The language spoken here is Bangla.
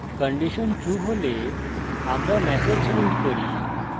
condition true হলে আমরা ম্যাসেজ print করি: